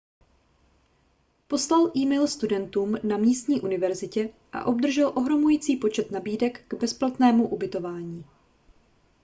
poslal e-mail studentům na místní univerzitě a obdržel ohromující počet nabídek k bezplatnému ubytování